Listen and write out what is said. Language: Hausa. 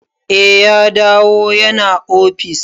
Eh ya dawo ya na ofis.